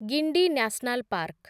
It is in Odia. Guindy national park